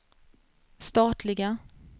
statliga